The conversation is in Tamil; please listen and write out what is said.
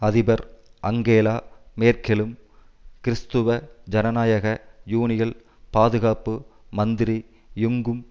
அதிபர் அங்கேலா மேர்க்கெலும் கிறிஸ்துவ ஜனநாயக யூனியல் பாதுகாப்பு மந்திரி யுங்கும்